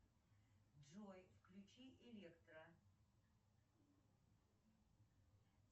джой включи электро